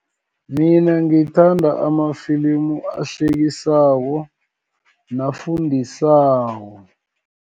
Mina ngithanda amafilimu ahlekisako, nafundisako.